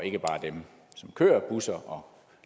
dem som kører busser